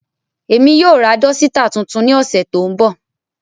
Emi yoo ra dọsitạ tuntun ni ọsẹ to nbọ.